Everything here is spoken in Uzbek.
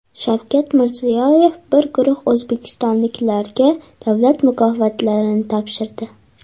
Shavkat Mirziyoyev bir guruh o‘zbekistonliklarga davlat mukofotlarini topshirdi.